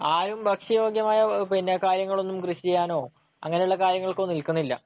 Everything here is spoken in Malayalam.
ആരും ഭക്ഷ്യയോഗ്യമായ കാര്യങ്ങളൊന്നും കൃഷി ചെയ്യാനോ അങ്ങനെയുള്ള കാര്യങ്ങൾക്കൊന്നും നിൽക്കുന്നില്ല.